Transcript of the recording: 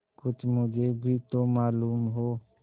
कुछ मुझे भी तो मालूम हो